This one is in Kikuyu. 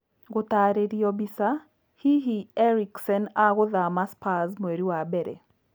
Gũtarĩrio mbica, hihi Eriksen agũthama Spurs mweri wa mbere